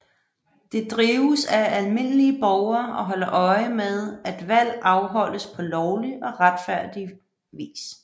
Det drives af almindelige borgere og holder øje med at valg afholdes på lovlig og retfærdig vis